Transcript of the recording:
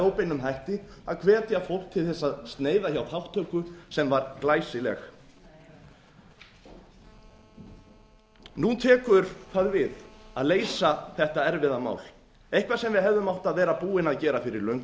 óbeinum hætti að hvetja fólk til þess að sneiða hjá þátttöku sem var glæsileg nú tekur það við að leysa þetta erfiða mál eitthvað sem við hefðum átt að vera að búin að gera fyrir löngu